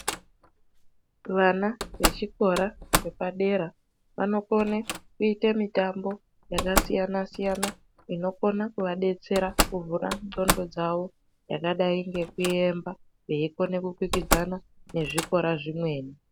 Vana vechikora chepadera vanokone mitambo yakasiyana siyana inokone kovadetsera kuvhura ndxondo dzavo veikona kukwikwidzana nezvikora zvikweni.